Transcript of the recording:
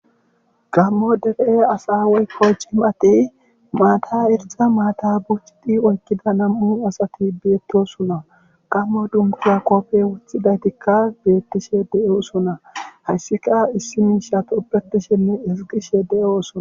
Gammo debe'e asawey koy ci mati maata irza maata bucidi oykkida nam'u asati beettosuna gammo dunkiya koppey wothidaytikka beettishe de'oosona hayssika issi miisha tubetishenne iziqishe de'oosona